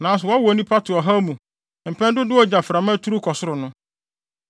Nanso wɔwo nnipa to ɔhaw mu mpɛn dodow a gyaframa turuw kɔ soro no.